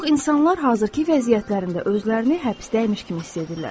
Bir çox insanlar hazırki vəziyyətlərində özlərini həbsdəymiş kimi hiss edirlər.